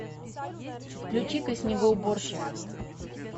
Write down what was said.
включи ка снегоуборщик